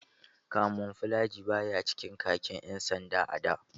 Kamuflaji baya cikin khakin ƴan sanda a da.